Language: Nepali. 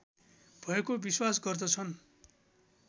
भएको विश्वास गर्दछन्